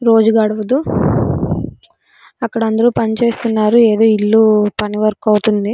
రోజు గడుపుతూ అక్కడ అందరూ పనిచేస్తున్నారు ఏదో ఇల్లు పని వర్క్ అవుతుంది.